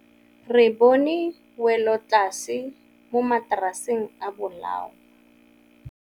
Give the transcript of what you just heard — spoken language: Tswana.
Re bone wêlôtlasê mo mataraseng a bolaô.